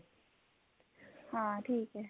ਹਾਂ ਠੀਕ ਐ